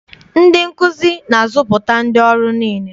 Ndị nkụzi na-azụpụta ndị ọrụ niile.